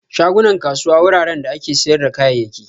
Shagunan kasuwa wuraren da ake siyar da kayayyaki.